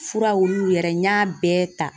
Furaw olu yɛrɛ, n y'a bɛɛ ta.